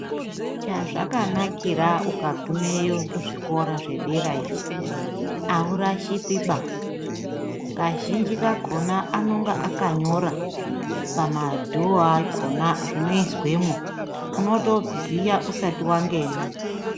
Chazvakanakira ukagumeyo kuzvikora zvedera iyo, aurashikiba, kazhinji kakhona anonga akanyora pamadhoo akhona zvinoizwemwo. Unotoziya usati wangena.